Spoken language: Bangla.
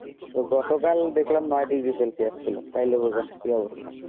গত কাল দেখলাম নয় degree celsius ছিল, তাইলে বোঝেন কি অবস্থা